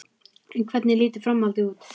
En hvernig lítur framhaldið út?